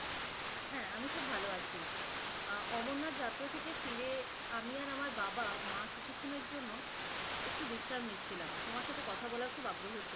হ্যাঁ আমি খুব ভালো আছি আহ অমর-নাথ যাত্রা থেকে ফিরে এসে আমি আর আমার বাবা-মা কিছুক্ষণের জন্য একটু বিশ্রাম নিচ্ছিলাম, তোমার সাথে কথা বলার খুব আগ্রহ ছিল।